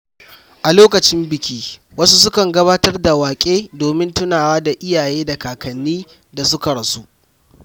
A lokacin biki, wasu sukan gabatar da waƙe domin tunawa da iyaye da kakannin da suka rasu.